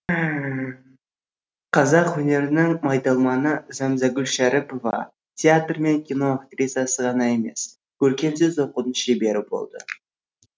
қазақ өнерінің майталманы зәмзәгүл шәріпова театр мен кино актрисасы ғана емес көркемсөз оқудың шебері болды